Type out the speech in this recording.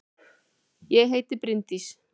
Ég heiti Bryndís!